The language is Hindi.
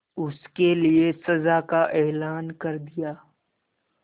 उसके लिए सजा का ऐलान कर दिया